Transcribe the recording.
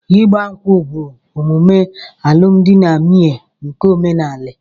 Ịgba nkwú bụ omume alụmdi na nwunye nke óménàlà.